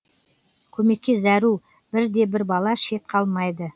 көмекке зәру бір де бір бала шет қалмайды